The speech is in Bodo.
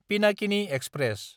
पिनाकिनि एक्सप्रेस